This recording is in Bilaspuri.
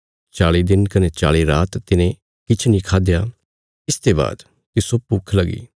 चाल़ी दिन कने चाल़ी रात तिने किछ नीं खाया इसते बाद तिस्सो भूक्ख लगी